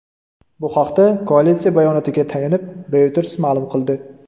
Bu haqda koalitsiya bayonotiga tayanib, Reuters ma’lum qildi.